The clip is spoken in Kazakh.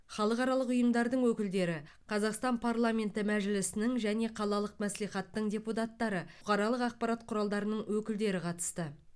халықаралық ұйымдардың өкілдері қазақстан парламенті мәжілісінің және қалалық мәслихаттың депутаттары бұқаралық ақпарат құралдарының өкілдері қатысты